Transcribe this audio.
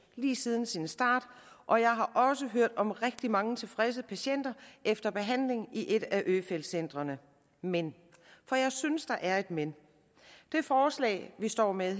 lige siden sin start og jeg har også hørt om rigtig mange tilfredse patienter efter behandling i et af øfeldt centrene men for jeg synes der er et men det forslag vi står med